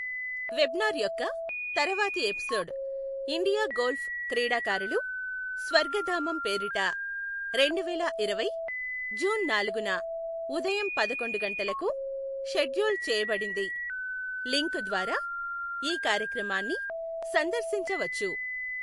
Webinar యొక్క తరువాతి episode India golf క్రీడాకారులు స్వర్ఘధామం పేరిట రెండువేల ఇరవై జూన్ నాలుగున ఉదయం పదకొండు గంటలకు షెడ్యూల్ చేయబడింది, లింక్ ద్వారా ఈ కార్యక్రమాన్ని సందర్శించవచ్చు.